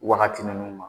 Wagati ninnu ma